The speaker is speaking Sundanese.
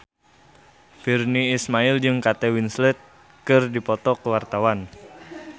Virnie Ismail jeung Kate Winslet keur dipoto ku wartawan